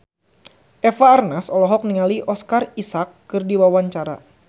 Eva Arnaz olohok ningali Oscar Isaac keur diwawancara